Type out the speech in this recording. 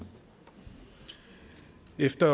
næste